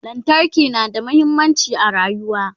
lantarki na da muhimmanci a rayuwa